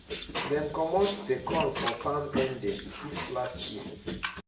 dem comot the corn for farm ending if last year